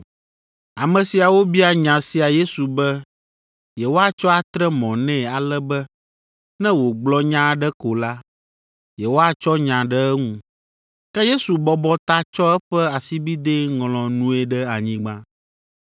Ame siawo bia nya sia Yesu be yewoatsɔ atre mɔ nɛ ale be ne wògblɔ nya aɖe ko la, yewoatsɔ nya ɖe eŋu. Ke Yesu bɔbɔ ta tsɔ eƒe asibidɛ ŋlɔ nue ɖe anyigba.